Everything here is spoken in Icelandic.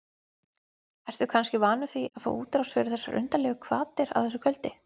Ertu kannski vanur því að fá útrás fyrir undarlegar hvatir á þessu kvöldi?